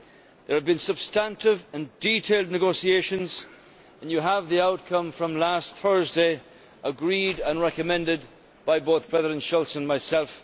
There have been substantive and detailed negotiations and you have the outcome from last Thursday agreed and recommended by both President Schulz and myself.